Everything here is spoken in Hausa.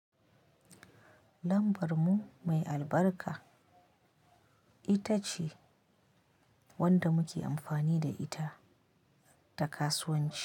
Lambar mu mai albarka ita ce wanda muke amfani da ita ta kasuwanci.